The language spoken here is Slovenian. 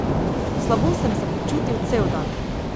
Slabo sem se počutil cel dan.